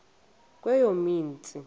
kweyomsintsi